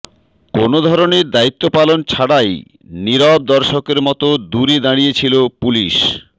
কোনো ধরনের দায়িত্ব পালন ছাড়াই নীরব দর্শকের মতো দূরে দাঁড়িয়ে ছিলো পুলিশ